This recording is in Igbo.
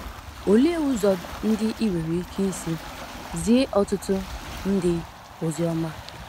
Olee ụzọ ndị i nwere ike isi zie ọtụtụ ndị ozi ọma?